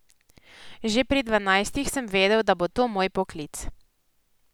Že pri dvanajstih sem vedel, da bo to moj poklic.